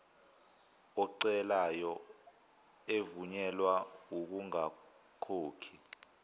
ocelayo evunyelwa ukungakhokhi